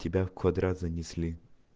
тебя в квадрат занесли